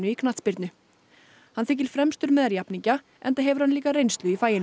knattspyrnu hann þykir fremstur meðal jafningja enda hefur hann líka reynslu í faginu